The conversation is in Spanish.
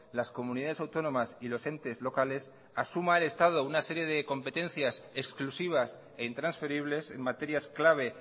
las comunidades autónomas y los entes locales que asuma el estado una serie de competencias exclusivas e intransferibles en materias clave